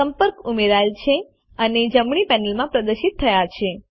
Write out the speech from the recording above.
સંપર્ક ઉમેરાયેલ છે અને જમણી પેનલમાં પ્રદર્શિત થાય છે